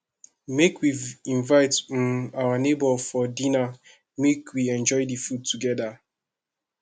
make we invite um our nebor for dinner make we enjoy di food togeda